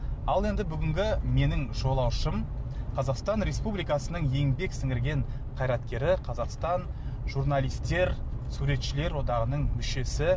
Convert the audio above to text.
ал енді бүгінгі менің жолаушым қазақстан республикасының еңбек сіңірген қайраткері қазақстан журналистер суретшілер одағының мүшесі